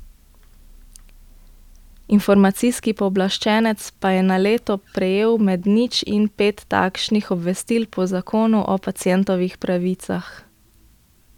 Informacijski pooblaščenec pa je na leto prejel med nič in pet takšnih obvestil po zakonu o pacientovih pravicah.